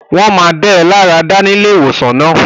Iwọ óò ní ilarada ní ilé-ìwosan náà